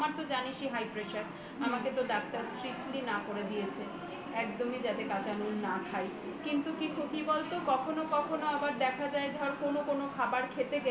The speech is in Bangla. আমার তো জানিসই high pressure আমাকে তো ডাক্তার strictly না করে দিয়েছে একদমই যাতে কাঁচা নুন না খাই কি বলতো কখনো কখনো দেখা যায় ধর কোনো কোনো খাবার খেতে গেলে